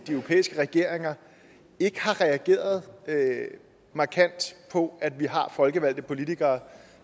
europæiske regeringer ikke har reageret markant på at vi har folkevalgte politikere